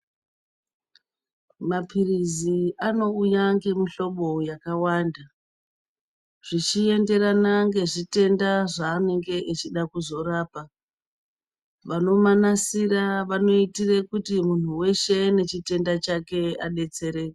Maphirizi anouya ngemuhlobo yakawanda, zvichienderana nezvitenda zvaanenge echida kuzorapa vanomanasire vanoitire kuti munhu weshe nechitenda chake adetsereke.